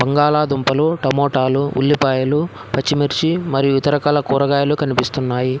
బంగాళ దుంపలు టమోటాలు ఉల్లిపాయలు పచ్చిమిర్చి మరియు ఇత రకాల కూరగాయలు కనిపిస్తున్నాయి.